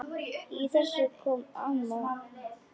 Í þessu kom amma inn.